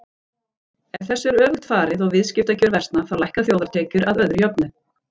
Ef þessu er öfugt farið og viðskiptakjör versna þá lækka þjóðartekjur að öðru jöfnu.